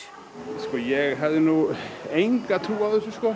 sko ég hafði nú enga trú á þessu sko